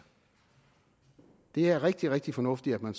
det er rigtig rigtig fornuftigt at man